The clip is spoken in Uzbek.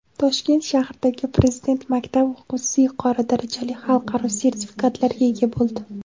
Toshkent shahridagi Prezident maktab o‘quvchisi yuqori darajali xalqaro sertifikatlarga ega bo‘ldi.